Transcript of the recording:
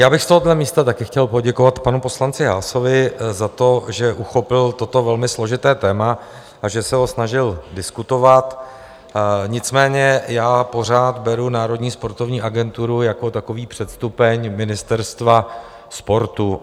Já bych z tohoto místa také chtěl poděkovat panu poslanci Haasovi za to, že uchopil toto velmi složité téma a že se ho snažil diskutovat, nicméně já pořád beru Národní sportovní agenturu jako takový předstupeň ministerstva sportu.